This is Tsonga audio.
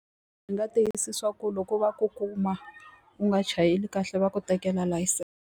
Ndzi nga tiyisisa swa ku loko va ku kuma u nga chayeli kahle va ku tekela layisense.